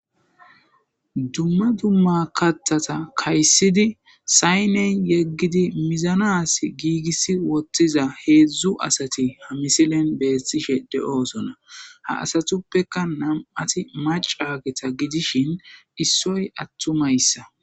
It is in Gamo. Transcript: Dumma dumma kattata kayssidi sayney yeggidi mizanas giigissi wottiza heedzdzu asati ha misilen beettishe de7oosona ha asatuppeka nam7ati macageta gidishin issoy attumayssa